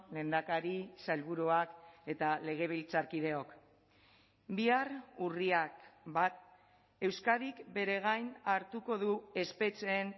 lehendakari sailburuak eta legebiltzarkideok bihar urriak bat euskadik bere gain hartuko du espetxeen